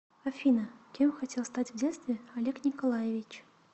афина кем хотел стать в детстве олег николаевич